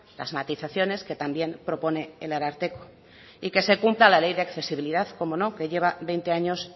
las matizaciones que también propone el ararteko y que se cumpla la ley de accesibilidad cómo no que lleva veinte años